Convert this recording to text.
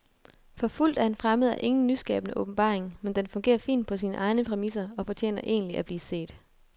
Forfulgt af en fremmed er ingen nyskabende åbenbaring, men den fungerer fint på sine egne præmisser og fortjener egentlig at blive set.